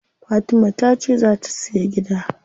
Fatima tace zaa ta siya gida.